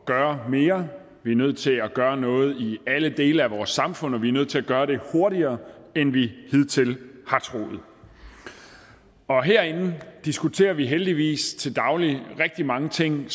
gøre mere vi er nødt til at gøre noget i alle dele af vores samfund og vi er nødt til at gøre det hurtigere end vi hidtil har troet herinde diskuterer vi heldigvis til daglig rigtig mange ting